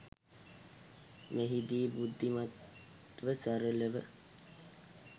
මෙහිදී බුද්ධිමත්ව සරලව